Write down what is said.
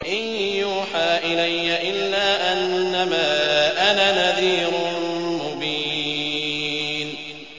إِن يُوحَىٰ إِلَيَّ إِلَّا أَنَّمَا أَنَا نَذِيرٌ مُّبِينٌ